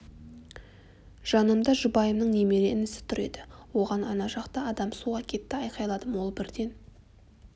жанымда жұбайымның немере інісі тұр еді оған ана жақта адам суға кетті айқайладым ол бірден